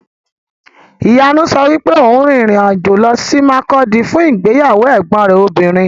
Ìyanu sọ wípé òun rin ìrìn-àjò lọ sí Makurdi fún ìgbéyàwó ẹ̀gbọn rẹ̀ obìnrin.